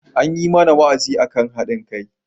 An yi mana wa'azi akan haɗin kai.